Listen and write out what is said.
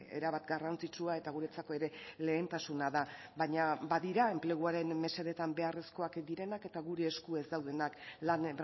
erabat garrantzitsua eta guretzako ere lehentasuna da baina badira enpleguaren mesedetan beharrezkoak direnak eta gure esku ez daudenak lan